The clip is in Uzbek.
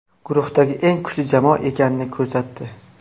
Guruhdagi eng kuchli jamoa ekanini ko‘rsatdi.